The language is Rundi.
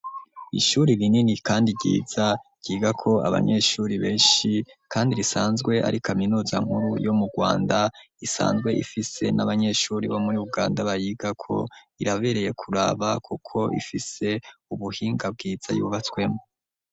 Ishuri rinini kandi ryiza ryigako abanyeshuri benshi, kandi risanzwe ari kaminuza nkuru yo mu Rwanda, isanzwe ifise n'abanyeshuri bo muri Uganda bayigako. Irabereye kuraba kuko ifise ubuhinga bwiza yubatswemwo.